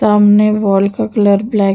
सामने वाल का colour black --